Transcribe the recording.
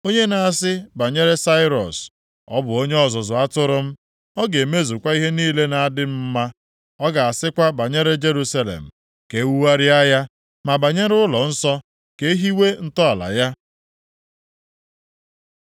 Onye na-asị banyere Sairọs, ‘Ọ bụ onye ọzụzụ atụrụ m, ọ ga-emezukwa ihe niile na-adị m mma; Ọ ga-asịkwa banyere Jerusalem, “Ka ewugharịa ya,” ma banyere ụlọnsọ, “Ka ehiwe ntọala ya.” ’